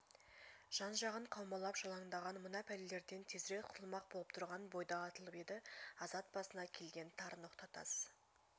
жан-жағын қаумалап жалаңдаған мына пәлелерден тезірек құтылмақ болып тұрған бойда атылып еді азат басына киілген тар ноқта тас